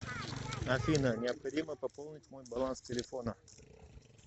афина необходимо пополнить мой баланс телефона